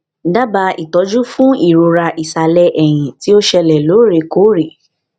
daba itoju fun irora isale eyin ti o sele lorekore